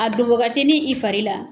A don wagatini i fari la,